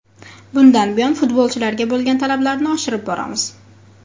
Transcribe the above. Bundan buyon futbolchilarga bo‘lgan talablarni oshirib boramiz.